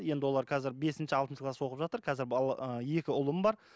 енді олар қазір бесінші алтыншы класс оқып жатыр қазір ы екі ұлым бар